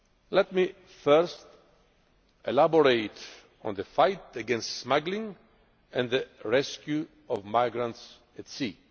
Let me first elaborate on the fight against smuggling and the rescue of migrants at sea.